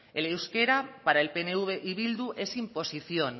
el euskera para el pnv y bildu es imposición